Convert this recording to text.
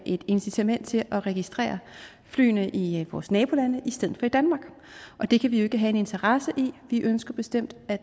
et incitament til at registrere flyene i vores nabolande i stedet for i danmark og det kan vi jo ikke have en interesse i vi ønsker bestemt at